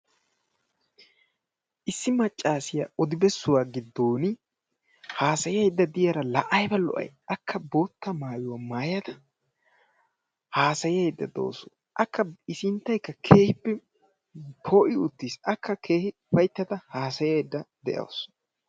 Issi maccaasiya odibessuwa giddooni haasayayidda diyaara la ayiba lo"ay! Akka bootta maayuwa maayada haasayayidda dawusu. Akka i sinttayikka keehippe poo'i uttis. Akka keehi ufayittada haasayayidda de'awus.